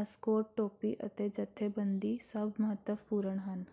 Ascot ਟੋਪੀ ਅਤੇ ਜਥੇਬੰਦੀ ਸਭ ਮਹੱਤਵਪੂਰਣ ਹਨ